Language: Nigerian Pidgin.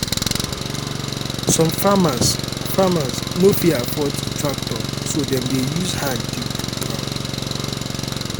some farmers farmers no fit afford tractor so dem dey use hand dig ground